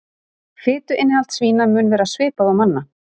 Fituinnihald svína mun vera svipað og manna.